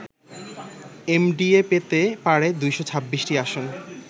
NDA পেতে পারে ২২৬টি আসন